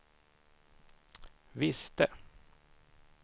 visste